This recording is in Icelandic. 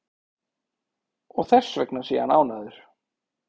Og þessvegna sé hann ánægður